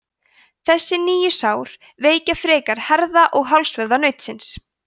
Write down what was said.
þessi nýju sár veikja frekar herða og hálsvöðva nautsins